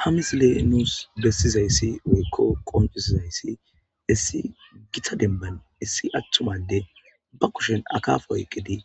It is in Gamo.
ha misile nuus bessizayssi weykko qoncusizayssi issi gita demban issi athtumade ba kushen akafoyqqidi